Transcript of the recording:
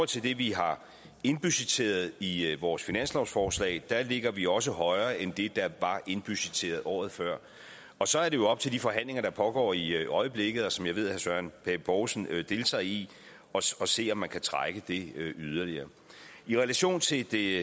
til det vi har indbudgetteret i i vores finanslovsforslag ligger vi også højere end det der var indbudgetteret året før og så er det jo op til de forhandlinger der pågår i øjeblikket og som jeg ved herre søren pape poulsen deltager i at se om man kan trække det yderligere i relation til det